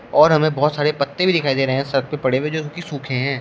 और हमें बहुत सारे पत्ते भी दिखाई दे रहे हैं सड़क पे पड़े हुए जो कि सूखे हैं।